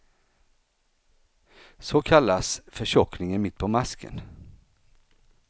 Så kallas förtjockningen mitt på masken.